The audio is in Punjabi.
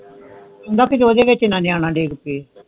ਕਹਿੰਦਾ ਊਦੇ ਵਿਚ ਨਾ ਨਿਆਣਾ ਡਿਗ ਜੇ